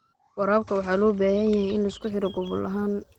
Waraabka waxa loo baahan yahay in la isku xidho gobol ahaan.